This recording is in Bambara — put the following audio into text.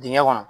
Dingɛ kɔnɔ